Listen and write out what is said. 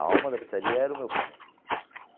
A alma da pizzaria era o meu pai.